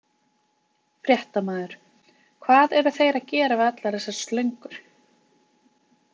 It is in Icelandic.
Fréttamaður: Hvað eru þeir að gera við allar þessar slöngur?